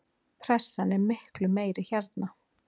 Pressan er miklu meiri hérna.